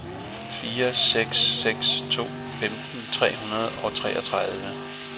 fire seks seks tre femten tre hundrede og treogtredive